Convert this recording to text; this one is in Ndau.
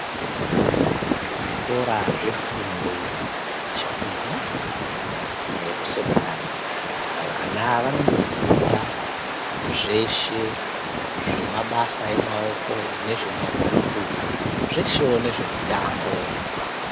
Zvikora zvefundo yechipiri kusekondari vana vanofunda zveshe zvemabasa emaoko nezvemabhuku zveshewo nezvemutambo.